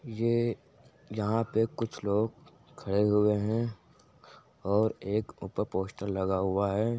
ये यहां पे कुछ लोग खड़े हुए हैं और एक ऊपर पोस्टर लगा हुआ है।